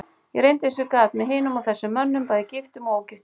Ég reyndi eins og ég gat, með hinum og þessum mönnum, bæði giftum og ógiftum.